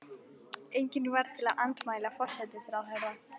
Engin varð til að andmæla forsætisráðherra.